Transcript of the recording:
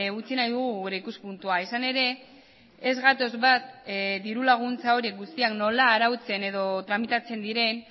utzi nahi dugu gure ikuspuntua izan ere ez gatoz bat dirulaguntza horiek guztiak nola arautzen edo tramitatzen diren